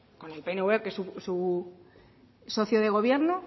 con el pnv que es su socio de gobierno